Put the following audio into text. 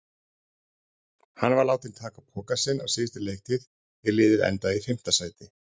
Hann var látinn taka pokann sinn á síðustu leiktíð er liðið endaði í fimmta sæti.